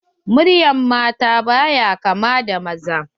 Muryar mata baya kaman na maza.